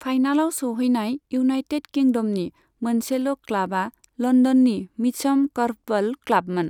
फाइनालाव सौहैनाय इउनाइटेड किंडमनि मोनसेल' क्लाबा लन्दननि मिचम कर्फबल क्लाबमोन।